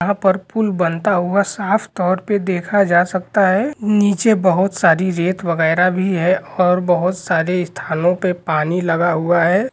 यहाँ पे पुल बनता हुआ साफ तौर पे देखा जा सकता है नीचे बहुत सारी रेत वगेरा भी है और बहुत सारे स्थान पे पानी लगा हुआ है।